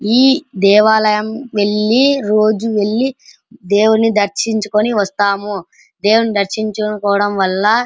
ఈ దేవాలయం వెళ్లి రోజు వెళ్లి దేవుని దర్శించి వస్తాము. దేవుని దర్శించుకోవడం వల్ల --